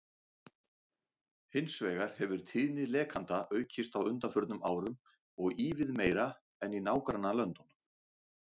Hins vegar hefur tíðni lekanda aukist á undanförnum árum og ívið meira en í nágrannalöndunum.